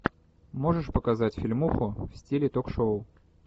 можешь показать фильмуху в стиле ток шоу